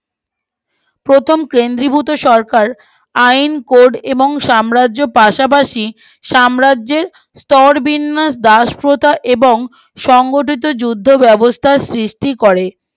প্রথম কেন্দ্রীভূত সরকার আইকোর এবং সাম্রাজ্য পাশাপাশি সাম্রাজ্যের স্তর বিন্যাস দাস প্রথা এবং সংগঠিত যুদ্ধ ব্যবস্থার সৃষ্টি করে